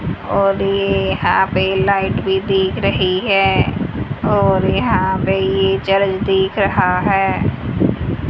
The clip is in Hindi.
और ये यहां पे लाइट भी दिख रही है और यहां पे ये चर्च दिख रहा है।